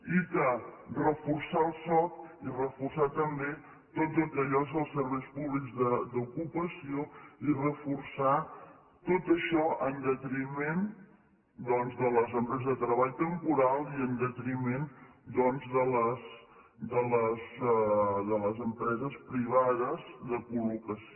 i reforçar el soc i reforçar també tot el que són els serveis públics d’ocupació i reforçar tot això en detriment de les empreses de treball temporal i en detriment doncs de les empreses privades de col·locació